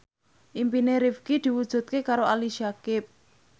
impine Rifqi diwujudke karo Ali Syakieb